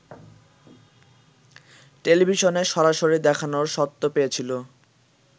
টেলিভিশনে সরাসরি দেখানোর স্বত্ব পেয়েছিল